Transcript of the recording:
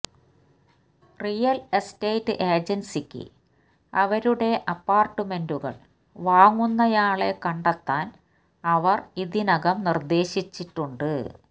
real estate ഏജൻസിക്ക് അവരുടെ അപ്പാർട്ട്മെന്റുകൾ വാങ്ങുന്നയാളെ കണ്ടെത്താൻ അവർ ഇതിനകം നിർദ്ദേശിച്ചിട്ടുണ്ട്